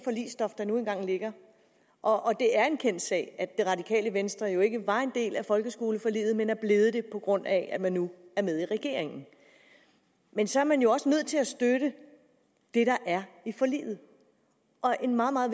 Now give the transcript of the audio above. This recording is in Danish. forligsstof der nu engang ligger og det er en kendt sag at det radikale venstre jo ikke var en del af folkeskoleforliget men er blevet det på grund af at man nu er med i regeringen men så er man jo også nødt til at støtte det der er i forliget og en meget meget